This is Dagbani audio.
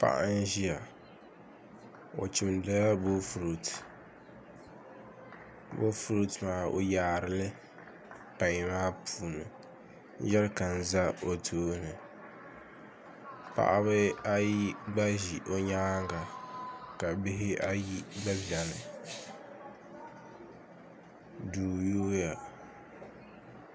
Paɣa n ʒiya o chimdila boofurooto boofurooto maa o yaarili pai maa puuni ka jɛrikan ʒɛ o tooni paɣaba ayi gba ʒi o nyaanga ka bihi ayi gba biɛni duu yooya